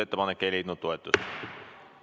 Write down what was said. Ettepanek ei leidnud toetust.